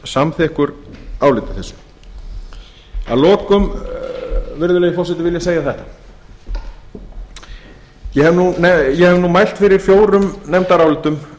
samþykkur áliti þessu að lokum virðulegi forseti vil ég segja þetta ég hef mælt fyrir fjórum nefndarálitum